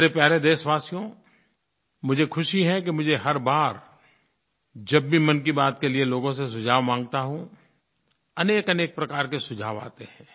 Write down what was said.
मेरे प्यारे देशवासियो मुझे ख़ुशी है कि मुझे हर बार जब भी मन की बात के लिये लोगों से सुझाव माँगता हूँ अनेकअनेक प्रकार के सुझाव आते हैं